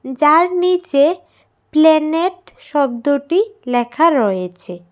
যার নিচে প্ল্যানেট শব্দটি লেখা রয়েছে।